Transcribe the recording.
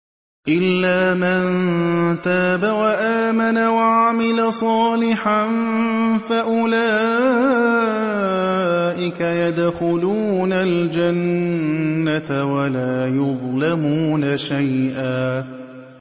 إِلَّا مَن تَابَ وَآمَنَ وَعَمِلَ صَالِحًا فَأُولَٰئِكَ يَدْخُلُونَ الْجَنَّةَ وَلَا يُظْلَمُونَ شَيْئًا